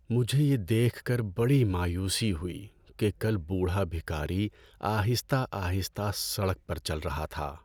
مجھے یہ دیکھ کر بڑی مایوسی ہوئی کہ کل بوڑھا بھکاری آہستہ آہستہ سڑک پر چل رہا تھا۔